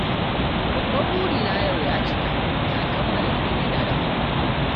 Babban burina yau ya cika, na kammala digirina na farko